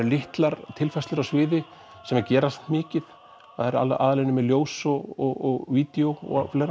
litlar tilfærslur á sviði sem gera mikið aðallega unnið með ljós og vídeó